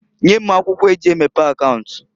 Nye m akwụkwo eji emepe akaunt.